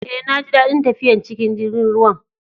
Eh, na ji dadin tafiyan cikin jirigin ruwan.